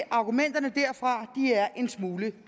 at argumenterne derfra er en smule